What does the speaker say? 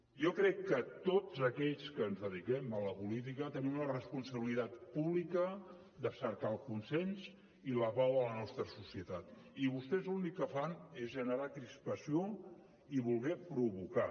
jo crec que tots aquells que ens dediquem a la política tenim una responsabilitat pública de cercar el consens i la pau a la nostra societat i vostès l’únic que fan és generar crispació i voler provocar